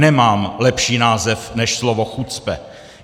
Nemám lepší název než slovo chucpe.